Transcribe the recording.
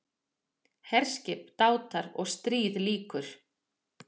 HERSKIP, DÁTAR OG STRÍÐ LÝKUR